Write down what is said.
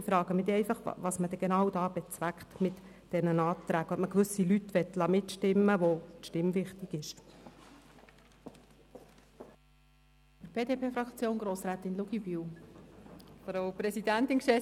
Ich frage mich einfach, was man mit den Anträgen genau bezweckt und ob man gewisse Leute mitstimmen lassen will, deren Stimme einem wichtig ist.